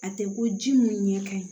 A tɛ ko ji mun ɲɛ ka ɲi